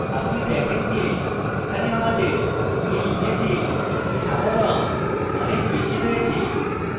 আপনি দেখেন যে এখানে আমাদের you image সাদা রঙ অনেক বেশী রয়েছে